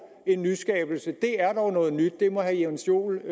en nyskabelse det er dog noget nyt det må herre jens joel